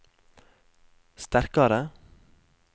sterkare